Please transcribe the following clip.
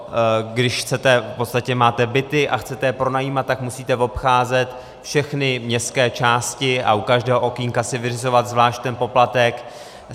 Když máte byty a chcete je pronajímat, tak musíte obcházet všechny městské části a u každého okénka si vyřizovat zvlášť ten poplatek.